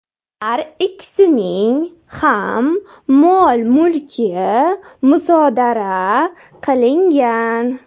Har ikkisining ham mol-mulki musodara qilingan.